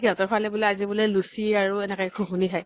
সিহঁতৰ ফালে বুলে আজি বুলে লুচি আৰু এনেকে ঘুগুনি খাই ।